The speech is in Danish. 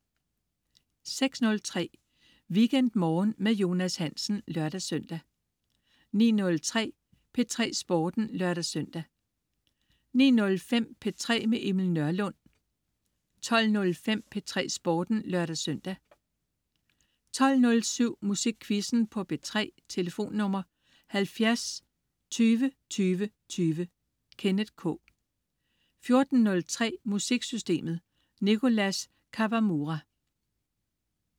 06.03 WeekendMorgen med Jonas Hansen (lør-søn) 09.03 P3 Sporten (lør-søn) 09.05 P3 med Emil Nørlund 12.05 P3 Sporten (lør-søn) 12.07 Musikquizzen på P3. Tlf.: 70 20 20 20. Kenneth K 14.03 Musiksystemet. Nicholas Kawamura